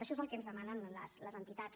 això és el que ens demanen les entitats